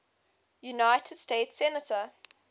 united states senator